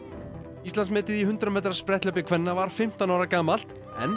Íslandsmetið í hundrað metra spretthlaupi kvenna var fimmtán ára gamalt